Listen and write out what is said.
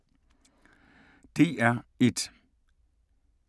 DR1